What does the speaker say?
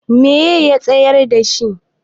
me ya tsayar da shi?